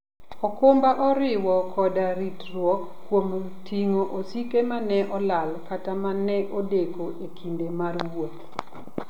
okumba oriwo koda ritruok kuom ting'o osike ma ne olal kata ma ne odeko e kinde mar wuoth.